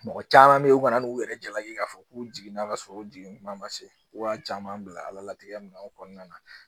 Mɔgɔ caman bɛ ye u kana n'u yɛrɛ jalaki k'a fɔ k'u jiginna ka sɔrɔ u jigin kuma ma se wa caman bila ala latigɛ minanw kɔnɔna na